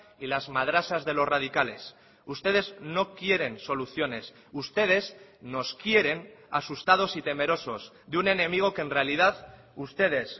y las madrasas de los radicales ustedes no quieren soluciones ustedes nos quieren asustados y temerosos de un enemigo que en realidad ustedes